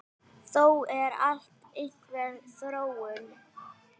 Þó er alltaf einhver þróun.